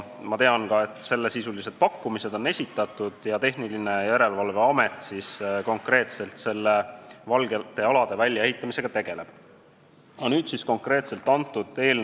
Ma tean ka, et sellesisulised pakkumised on esitatud ja Tehnilise Järelevalve Amet nende "valgete alade" väljaehitamisega konkreetselt tegeleb.